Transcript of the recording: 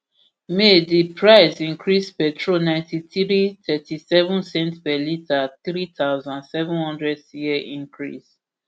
may di price increase petrol ninety-three ulp lrp thirtyseven cent per litre three thousand, seven hundred cl increase